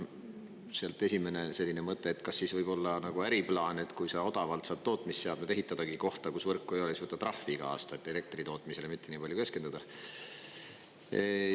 Esimene selline mõte, et kas siis võib-olla äriplaan, et kui saad odavalt saab tootmisseadmed ehitada kohta, kus võrku ei ole, siis võta trahvi iga aasta, et elektri tootmisele mitte nii palju keskenduda.